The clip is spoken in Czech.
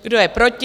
Kdo je proti?